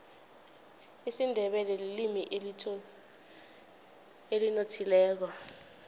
isindebele lilimi elinothileko